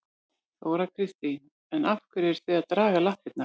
Þóra Kristín: En af hverju eruð þið þá að draga lappirnar?